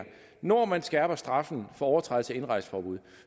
når man skærper straffen for overtrædelse af indrejseforbud